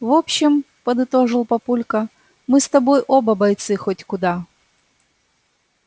в общем подытожил папулька мы с тобой оба бойцы хоть куда